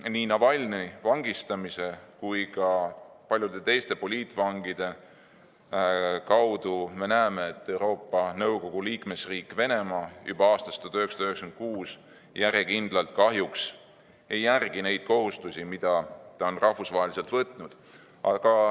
Nii Navalnõi vangistamine kui ka paljude teiste poliitvangide kohtlemine on näidanud, et Euroopa Nõukogu liikmesriik Venemaa ignoreerib juba aastast 1996 järjekindlalt neid kohustusi, mis ta on rahvusvaheliselt võtnud.